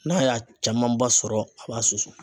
N'a y'a camanba sɔrɔ a b'a susu.